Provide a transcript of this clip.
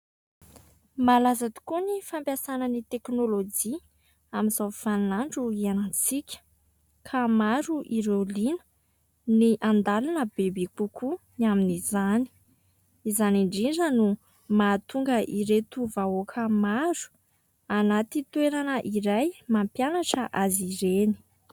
Malaza tokoa ny fampiasana ny teknôlôjia amin'izao vaninandro hiainantsika ka maro ireo liana ny handalina bebe kokoa ny amin'izany, izany indrindra no mahatonga ireto vahoaka maro anaty toerana iray mampianatra azy ireny.